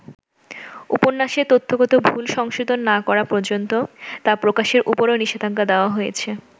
উপন্যাসে তথ্যগত ভুল সংশোধন না করা পর্যন্ত তা প্রকাশের উপরও নিষেধাজ্ঞা দেয়া হয়েছে।